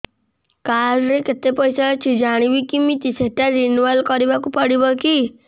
card ରେ କେତେ ପଇସା ଅଛି ଜାଣିବି କିମିତି ସେଟା ରିନୁଆଲ କରିବାକୁ ପଡ଼ିବ କି